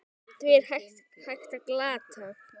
Því er hægt að glata!